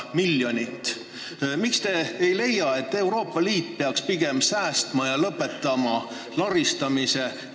Miks te ei leia, et Euroopa Liit peaks pigem säästma ja lõpetama laristamise?